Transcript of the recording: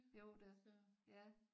Jo da ja